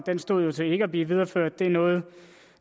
den stod jo til ikke at blive videreført og det er noget